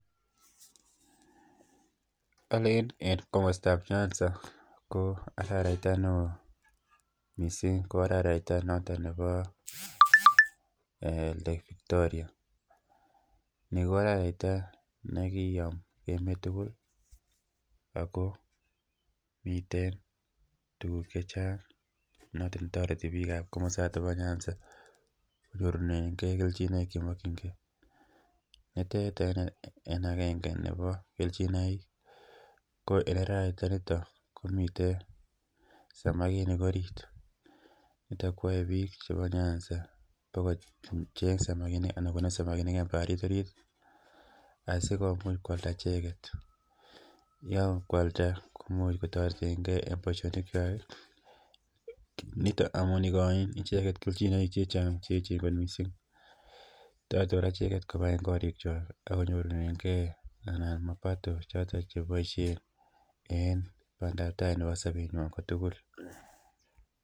Olen en komostab nyanza ko hararaita neo missing ko hararaita noton nebo eeh Lake Victoria ni ko hararaita nekiyom emet tukul Ako miten tukuk chechang noton toreti bikab komosoton bo nyanza konyorunengee keljinoik chemokingee, nitet en agenge nebo keljinoik ko en hararaita niton komiten samakinik orit niton koyoe bik chebo nyanza kocheng samakinik anan konam samakinik en oinet orit asikomuch kwalda icheket. Yakakwalda ko imuch kotoretengee en boishonik kwak niton amun ikoi icheket keljinoik chechang cheyechen kot missing cheyoche koraa icheket kobaten korik kwak ak konyorunengee ana mapato choton cheboishen en pandap tai nebo somenywan kotukul.